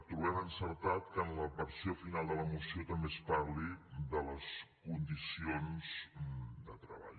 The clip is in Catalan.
trobem encertat que en la versió final de la moció també es parli de les condicions de treball